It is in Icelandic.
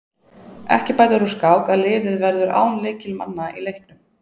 Ekki bætir úr skák að liðið verður án lykilmanna í leiknum.